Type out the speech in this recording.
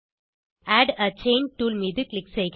add a chain tool மீது click செய்க